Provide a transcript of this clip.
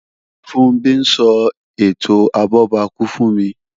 Funbí ń sọ ètò abọ́bakú fún mi